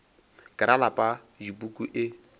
ke ra lapa dipuku e